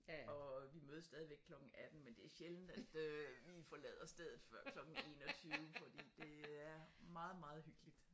Og vi mødes stadigvæk klokken 18 men det er sjældent at øh vi forlader stedet før klokken 21 fordi det er meget meget hyggeligt